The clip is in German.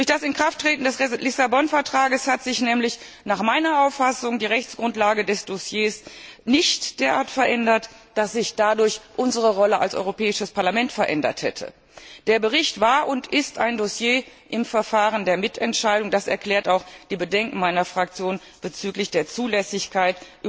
Durch das Inkrafttreten des Lissabon Vertrags hat sich nämlich nach meiner Auffassung die Rechtsgrundlage des Dossiers nicht derart verändert, dass sich dadurch unsere Rolle als Europäisches Parlament verändert hätte. Der Bericht war und ist ein Dossier im Verfahren der Mitentscheidung. Das erklärt auch die Bedenken meiner Fraktion bezüglich der Zulässigkeit